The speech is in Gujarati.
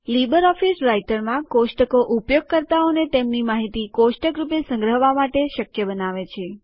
લીબરઓફીસ રાઈટરમાં કોષ્ટકો વપરાશકર્તાઓને તેમની માહિતી કોષ્ટક રૂપે સંગ્રહવા માટે શક્ય બનાવે છે